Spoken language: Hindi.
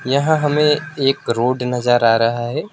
यहां हमें एक रोड नजर आ रहा है।